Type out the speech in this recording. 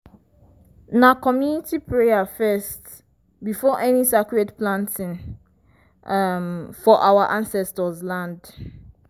na community prayer first before any sacred planting um for our ancestors land.